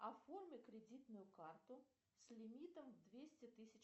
оформи кредитную карту с лимитом двести тысяч